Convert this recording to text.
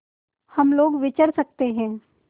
हम लोग विचर सकते हैं